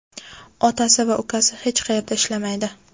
otasi va ukasi hech qayerda ishlamaydi.